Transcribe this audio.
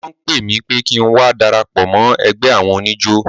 Wọ́n pè mí pé kí ń wá darapọ̀ mọ́ ẹgbẹ́ àwọn oníjó.